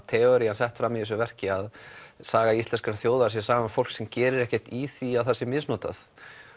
teoría sett fram í þessu verki saga íslenskrar þjóðar er saga fólks sem gerir ekkert í því að það sé misnotað